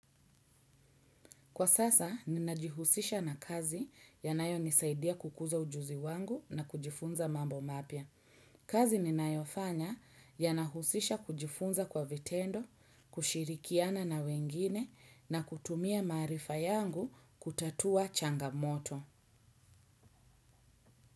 Kwa sasa, ninajihusisha na kazi yanayo nisaidia kukuza ujuzi wangu na kujifunza mambo mapya. Kazi ninayofanya yanahusisha kujifunza kwa vitendo, kushirikiana na wengine na kutumia maarifa yangu kutatua changamoto.